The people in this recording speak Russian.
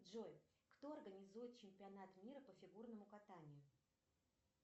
джой кто организует чемпионат мира по фигурному катанию